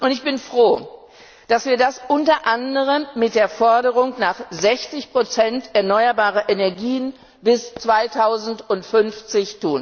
Ich bin froh, dass wir das unter anderem mit der Forderung nach 60 erneuerbarer Energien bis 2050